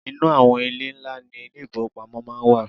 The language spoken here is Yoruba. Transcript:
inu awon ile nla ni ile ifowopamo maa n wa